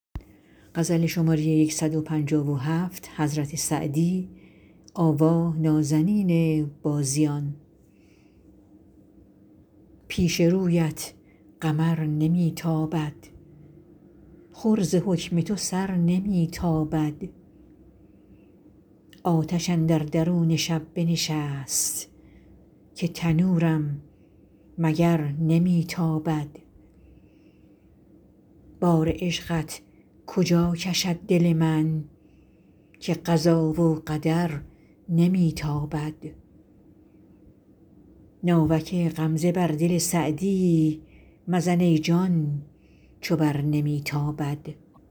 پیش رویت قمر نمی تابد خور ز حکم تو سر نمی تابد نیکویی خوی کن که نرگس مست بر تو با کین و شر نمی تابد دم غنیمت بدان زمان بشناس زهره وقت سحر نمی تابد آتش اندر درون شب بنشست که تنورم مگر نمی تابد بار عشقت کجا کشد دل من که قضا و قدر نمی تابد ناوک غمزه بر دل سعدی مزن ای جان چو بر نمی تابد